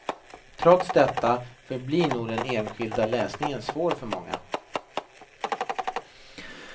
Trots detta förblir nog den enskilda läsningen svår för många.